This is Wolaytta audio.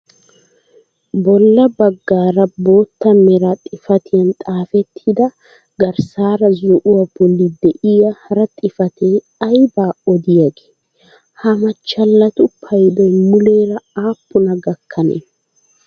Bolla baggaara bootta mera xifatiyaan xaafettida garssaara zo'uwaa bolli de'iyaa hara xifatee aybaa odiyaagee? Ha machchalatu paydoy muleera aappunaa gakkanee?